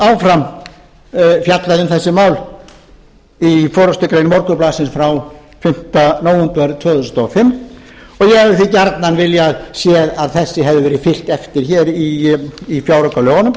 síðan fjallað um þessi mál í forustugrein morgunblaðsins frá fimmta nóvember tvö þúsund og fimm ég hefði því gjarnan viljað sjá að þessu hefði verið fylgt eftir í fjáraukalögunum